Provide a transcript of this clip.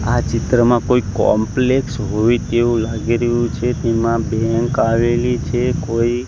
આ ચિત્રમાં કોઈ કોમ્પલેક્ષ હોય તેવુ લાગી રહ્યુ છે તેમા બેંક આવેલી છે કોઈ.